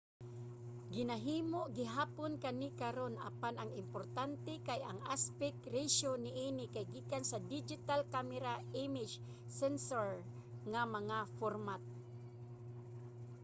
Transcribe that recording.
ginahimo gihapon kani karun apan ang importante kay ang aspect ratio niini kay gikan sa digital camera image sensor nga mga format